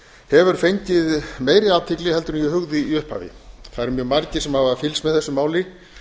hefur fengið meiri athygli heldur en ég hugði í upphafi það eru mjög margir sem hafa fylgst með þessu máli